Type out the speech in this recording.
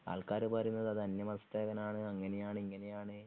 ആൾക്കാര് പറയുന്നത് അത് അന്യമതസ്ഥകനാണ് അങ്ങനെയാണ് ഇങ്ങനെയാണ്